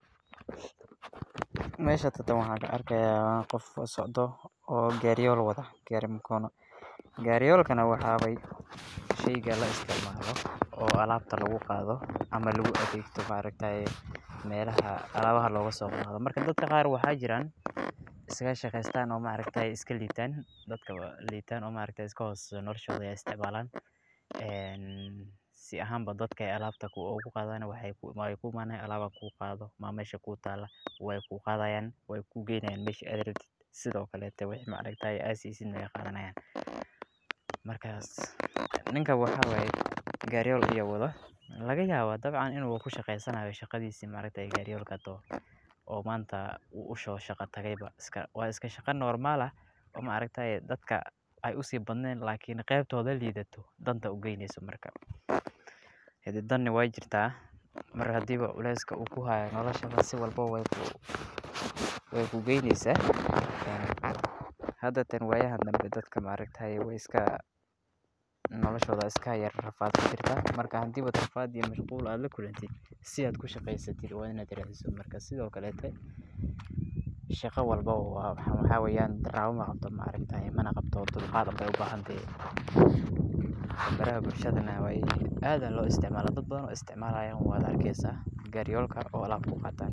Masha tatan waxaan ka argayahay qof socdoh, oo gariyo wadoh gari magono gariyalkna waxa waya shayka la isticmaloh oo alabta lagu qatoh ama lagu adagoh markta ah malaha alabta loga soqadoh, dad qar waxa jiran iska shaqsan markata iska litan dadka lintan markata iska hoosa noloshoda, aya isticmalahan, aa sii ahan dadka ayay alabta ogu qadan waxay ku imani alalab ku qadoh miya masha ku taloh, way ku qadayin way ku gaynayin mashi ad rabta, sidaa okle markta ah waxad ad sisidnah way qadanayin, markas ninka wax waya gariyol ayu wadah laga yabah dabcan inu ku shaqsanayoh shaqadisa markata gariyolkas taho, oo manta u uso shaqaka baa waa iska shaqo nomar ah, markata dadka ay usi baadnan lkn qabtoda lidatoh danta aya ugaynasoh marka, dan nah way jirtah mar hadii baa culas ugu hayoh nolosha saa walbo way ku gaynasah, hadartana waya ha dambi dadka ma argta way iska noloshada iska rafadsan marka hadii raafad iyo mashqulba ad la kulantid, sii ad ku shaqastad wad ina radisoh, marka sidii okle shaqo walbo waxaa wayan darwo ma qabto marka dulqad ayay ubahabtaha baraha bulshada nah aad aya loo isticmalah dad badan oo isticmalahan wad argisah gariyolka muqatan.